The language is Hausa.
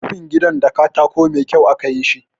Rufin gidan da katako mai kyau aka yi shi.